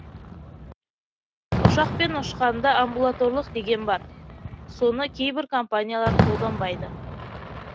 ұшақпен ұшқанда амбулаторлық деген бар соны кейбір компаниялар қолданбайды